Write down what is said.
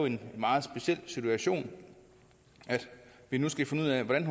en meget speciel situation at vi nu skal finde ud af hvordan